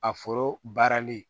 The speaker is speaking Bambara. A foro baarali